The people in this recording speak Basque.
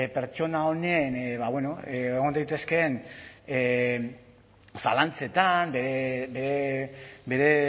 pertsona honen egon daitezkeen zalantzetan bere